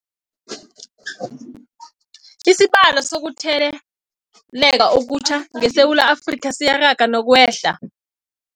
Isibalo sokuthele leka okutjha ngeSewula Afrika siyaraga nokwehla.